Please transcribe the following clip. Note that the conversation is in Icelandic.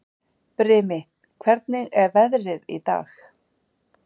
Brimi, hvernig er veðrið í dag?